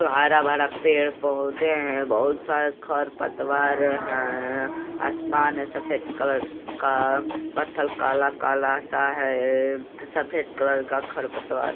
हरा भरा पेड़ पोधे है। बहुत सारे खर पतवार है। आसमान ऐ सफेद कलर का पत्थर काला काला सा है। सफ़ेद कलर का खर पतवार --